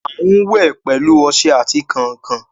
A n wẹ pẹlu ọṣẹ ati kánkan